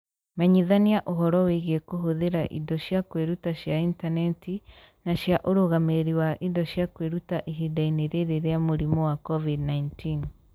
Menyithania ũhoro wĩgiĩ kũhũthĩra indo cia kwĩruta cia intaneti na cia ũrũgamĩrĩri wa indo cia kwĩruta ihinda-inĩ rĩrĩ rĩa mũrimũ wa COVID-19.